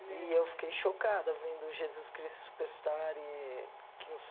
E eu fiquei chocada vendo Jesus Cristo Superstar, eee que nos...